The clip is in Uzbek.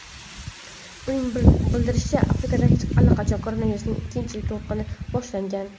Uning bildirishicha, Afrikada allaqachon koronavirusning ikkinchi to‘lqini boshlangan.